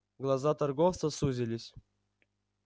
глаза торговца сузились